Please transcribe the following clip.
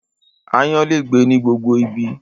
Aáyán lè gbé ní gbogbo ibi